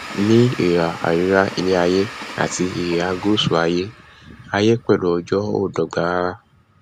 ní ihà àríwá iléaiyé àti ihà gùsù aiyé aiyé pẹlú ọjọ ò dọgba rara